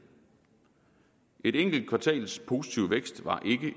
et enkelt kvartals positiv vækst var